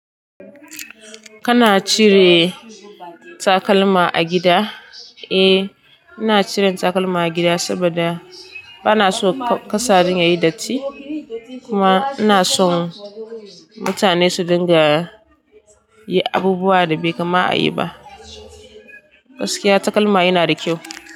Kana cire takalma a gida? Eh, ina cire takalma a gida saboda bana so ƙasa ɗin yayi datti. Kuma ina son mutane su dinga yi abubuwan da bai kama a yi ba. Gaskiya takalma yana da kyau.